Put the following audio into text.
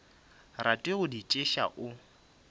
rate go di theetša o